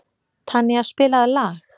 Tanía, spilaðu lag.